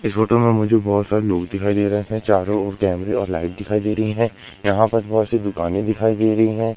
इस फोटो में मुझे बहोत सारे लोग दिखाई दे रहे हैं। चारों ओर कैमरे और लाईट दिखाई दे रही हैं। यहां पर बहुत सी दुकानें दिखाई दे रही हैं।